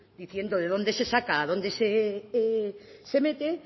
diciendo de dónde se saca a dónde se mete